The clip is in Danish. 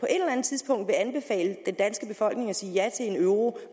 eller andet tidspunkt vil anbefale den danske befolkning at sige ja til euroen